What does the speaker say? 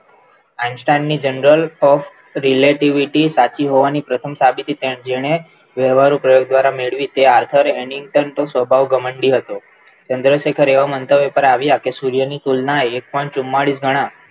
Einstein ની general relativity સાચી પ્રથમ સાબિતી જેણે વહેવારો દ્વારા મેળવી હતી Arthery editor નો સ્વભાવ ઘમંડી હતો ચંદ્રશેખર એવા મંતવ્ય પર આવ્યા કે સૂર્યની તુલના એક point ચુમ્માલીસ ગણા.